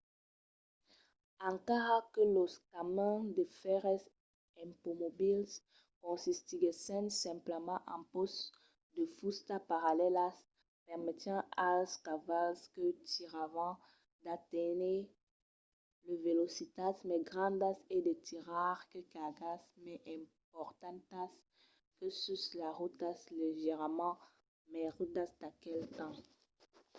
encara que los camins de fèrres ipomobils consistiguèssen simplament en pòsts de fusta parallèlas permetián als cavals que tiravan d'aténher de velocitats mai grandas e de tirar de cargas mai importantas que sus las rotas leugièrament mai rudas d'aquel temps